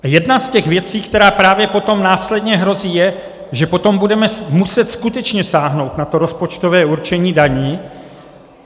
Jedna z těch věcí, která právě potom následně hrozí, je, že potom budeme muset skutečně sáhnout na to rozpočtové určení daní.